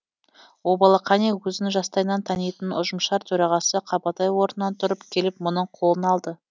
обалы қане өзін жастайынан танитын ұжымшар төрағасы қабатай орнынан тұрып келіп мұның қолын алды